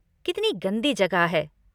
कितनी गंदी जगह है।